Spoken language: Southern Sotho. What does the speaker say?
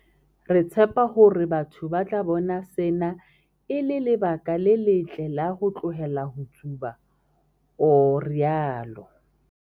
"Re tshepa hore batho ba tla bona sena e le lebaka le letle la ho tlohela ho tsuba," o rialo.